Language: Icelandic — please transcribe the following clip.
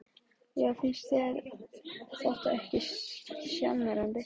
Helga: Já finnst þér þetta ekki sjarmerandi?